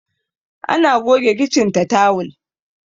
ana goge kicin ta tawul